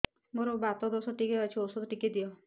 ମୋର୍ ବାତ ଦୋଷ ଟିକେ ଅଛି ଔଷଧ ଟିକେ ଦିଅ